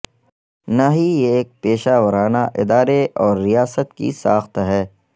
نہ ہی یہ ایک پیشہ ورانہ ادارے اور ریاست کی ساخت ہے